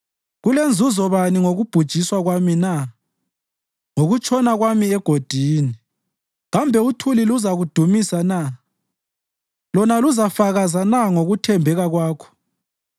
“Kulenzuzo bani ngokubhujiswa kwami na, ngokutshona kwami egodini? Kambe uthuli luzakudumisa na? Lona luzafakaza na ngokuthembeka Kwakho?